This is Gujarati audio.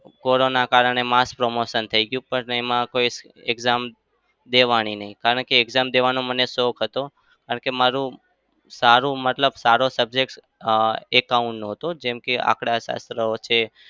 કોરોનાના કારણે mass promotion થઇ ગયું. પણ એમાં કોઈ exam દેવાની નહિ. કારણ કે exam દેવાનો મને શોખ હતો. કારણ કે મારું સારું મતલબ સારો subject અમ account નો હતો. જેમ કે આંકડાશાસ્ત્ર છે.